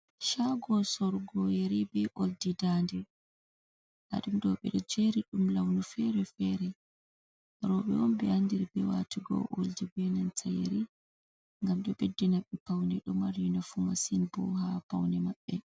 Shago sorgo yeri be oldi dande dadum dobe do jeri dum launu fere-fere robe be andiri be watugo oldi benanta yeri gam do beddi nabbe paune do mari nafu masin bo ha paune mabbe.